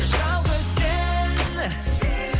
жалғыз сен сен